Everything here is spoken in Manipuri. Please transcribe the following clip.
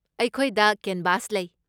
ꯑꯩꯈꯣꯏꯗ ꯀꯦꯟꯚꯥꯁ ꯂꯩ꯫